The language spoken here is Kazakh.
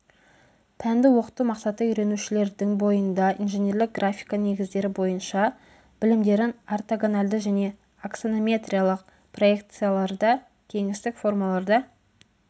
пәнді оқыту мақсаты үйренушілердің бойында инженерлік графика негіздері бойынша білімдерін ортогональды және аксонометриялық проекцияларда кеңістік формаларда